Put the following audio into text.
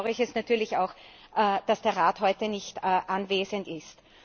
Insofern bedauere ich es natürlich auch, dass der Rat heute nicht anwesend ist.